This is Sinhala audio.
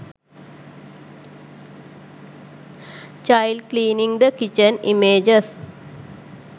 child cleaning the kitchen images